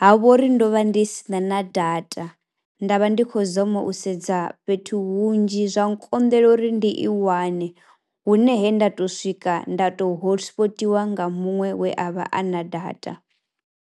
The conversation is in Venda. ha vha uri ndo vha ndi si na na data, nda vha ndi khou zama u sedza fhethu hunzhi zwa nkonḓela uri ndi i wane hune he nda tou swika nda tou hosipotiwa nga muṅwe we a vha a na data.